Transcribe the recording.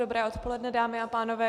Dobré odpoledne, dámy a pánové.